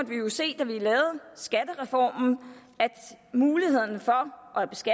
jo se da vi lavede skattereformen at muligheden for